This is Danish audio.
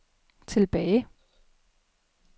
tilbage